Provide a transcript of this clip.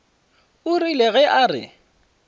o rile ge a re